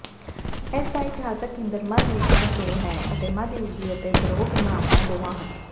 ਇਸ ਦਾ ਇਤਿਹਾਸਕ ਕੇਂਦਰ ਮੱਧ ਯੁੱਗਾਂ ਤੋਂ ਹੈ ਅਤੇ ਮੱਧਯੁਗੀ ਅਤੇ ਬਾਰੋਕ ਇਮਾਰਤਾਂ ਦੋਵਾਂ ਹਨ